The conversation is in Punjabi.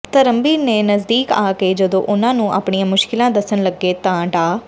ਧਰਮਬੀਰ ਦੇ ਨਜ਼ਦੀਕ ਆ ਕੇ ਜਦੋਂ ਉਨ੍ਹਾਂ ਨੂੰ ਆਪਣੀਆਂ ਮੁਸ਼ਕਿਲਾਂ ਦੱਸਣ ਲੱਗੇ ਤਾਂ ਡਾ